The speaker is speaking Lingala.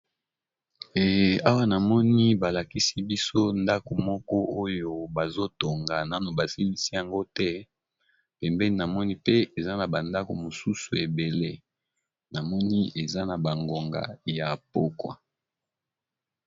Awa, na moni balakisi biso ndako moko oyo bazotonga, nano basilisi yango te. Pembeni, namoni pe eza na bandako mosusu ebele. Namoni eza na bangonga ya pokwa.